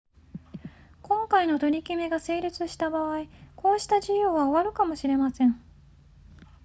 今回の取り決めが成立した場合こうした自由は終わるかもしれません